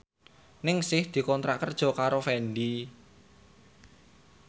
Ningsih dikontrak kerja karo Fendi